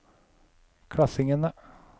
klassingene